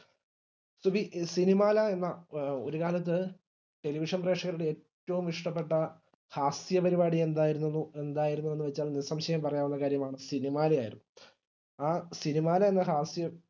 സുബി സിനിമാല എന്ന ഒരുകാലത്തു television പ്രേഷകരുടെ ഏറ്റവും ഇഷ്ട്ടപ്പെട്ട ഹാസ്യ പരിപാടി എന്തായിരുന്നു ന്ന് എന്തായിരുന്നുന്നു വെച്ച നിസംശയം പറയാനുള്ള കാര്യമാണ് സിനിമാല ആയിരുന്നു ആ സിനിമാല എന്ന ഹാസ്യം